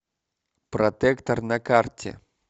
протектор на карте